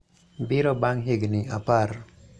biro bang� higni apar,